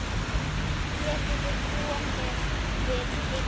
Getum við komið við heima?